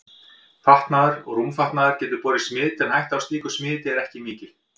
Fatnaður og rúmfatnaður getur borið smit en hætta á slíku smiti er ekki mikil.